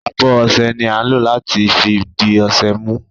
Abo ọṣẹ ni a ń lo lati fi di ọṣẹ mu.